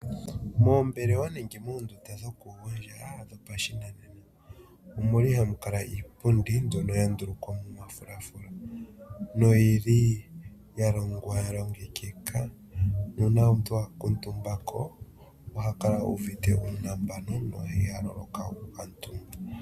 Moombelewa nenge moondunda dhokugondja dhopashinanena omuli hamu kala iipundi mbyono ya ndulukwa momafulafula noyi li ya longwa ya longekeka, nuuna omuntu a kuutumbako oha kala uuvite uunambano na iha loloka oku kuutumba.